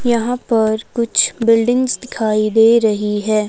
यहां पर कुछ बिल्डिंग्स दिखाई दे रही है।